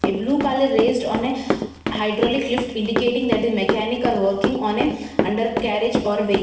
a blue color raised on a hydraulic lift indicating that a mechanic are working on a under carriage or vehi --